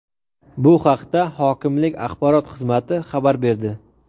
Bu haqda hokimlik axborot xizmati xabar berdi.